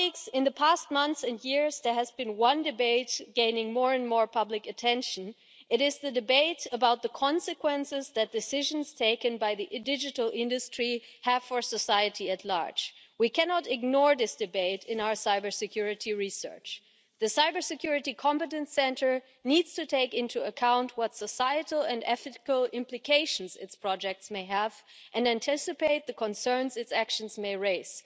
In the past months and years there has been one debate gaining more and more public attention. It is the debate about the consequences that decisions taken by the digital industry have for society at large. We cannot ignore this debate in our cybersecurity research. The Cybersecurity Competence Centre needs to take into account what societal and ethical implications its projects may have and anticipate the concerns its actions may raise.